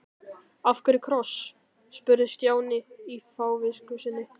Af hverju kross? spurði Stjáni í fávisku sinni.